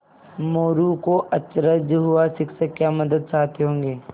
मोरू को अचरज हुआ शिक्षक क्या मदद चाहते होंगे